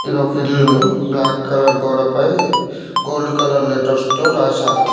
ఇదొక ఇల్లు black colour గోడపై గోల్డ్ కలర్ లెటర్స్ తో రాశారు.